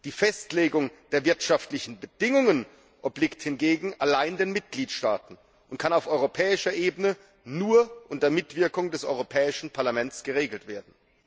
Die Festlegung der wirtschaftlichen Bedingungen obliegt hingegen allein den Mitgliedstaaten und kann auf europäischer Ebene nur unter Mitwirkung des Europäischen Parlaments geregelt werden.